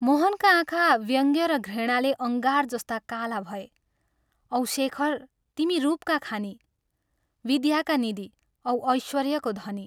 मोहनका आँखा व्यङ्ग र घृणाले अङ्गार जस्ता काला भए " औ शेखर तिमी रूपका खानि, विद्याका निधि औ ऐश्वर्यको धनी!